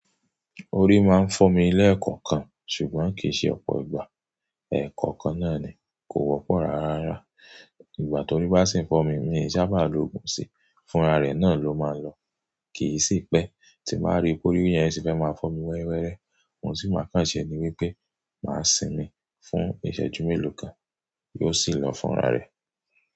Orí máa ń fọ́ mi lẹ́ẹ̀kọ̀kan, ṣùgbọ́n kìí ṣe ọ̀pọ̀ ìgbà. Èkòókan nó ní, ko wó pòn ràárá ìgbà tórí bá sì ń fọ́ mi, mi sábà lo òògùn sí, fúnra rẹ̀ náà ló máa lọ. Kì í sì pẹ́, tí màá rí pé ọ́rí yẹn sì fẹ́ máa fọ́ mi wẹ́réwẹ́rẹ́, òun tì máa kàn ṣe ní wípé, màá sìn mí fún ìṣẹ́jú mélòó kan, yóò sì lọ fúnra rẹ̀.